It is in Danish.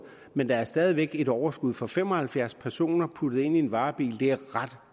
men der er stadig væk et overskud for fem og halvfjerds personer puttet ind i varebiler er ret